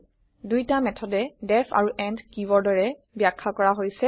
দুইটা মেথদেই ডিইএফ আৰু এণ্ড কিৱৰ্ডেৰে বাখয়া কৰা হৈছে